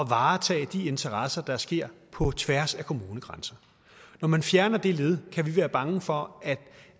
varetage de interesser der sker på tværs af kommunegrænser når man fjerner det led kan vi være bange for at